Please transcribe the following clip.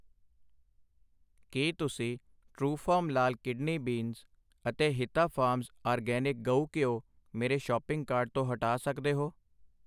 ਕਿ ਤੁਸੀਂ ਟਰੂਫਾਰਮ ਲਾਲ ਕਿਡਨੀ ਬੀਨਜ਼ ਅਤੇ ਹਿਤਾ ਫਾਰਮਜ਼ ਆਰਗੈਨਿਕ ਗਊ ਘਿਓ ਮੇਰੇ ਸ਼ੌਪਿੰਗ ਕਾਰਟ ਤੋਂ ਹਟਾ ਸੱਕਦੇ ਹੋ ?